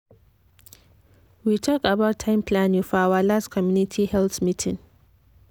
we talk about time planning for our last community health meeting.